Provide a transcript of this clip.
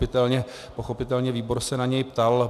Pochopitelně výbor se na něj ptal.